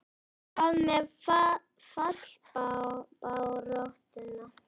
Hvað með fallbaráttuna?